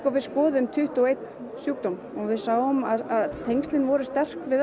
við skoðuðum tuttugu og einn sjúkdóm og við sáum að tengslin voru sterk við